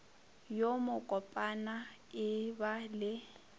yo mokopana e ba le